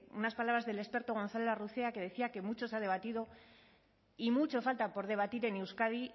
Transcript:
unas palabras del experto gonzález larrucea que decía que mucho se ha debatido y mucho falta por debatir en euskadi